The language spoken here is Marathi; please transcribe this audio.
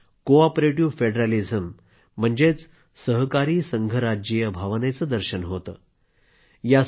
यामधून कोऑपरेटिव्ह फेडरॅलिझम म्हणजेच सहकारी संघराज्यीय भावनेचे दर्शन होते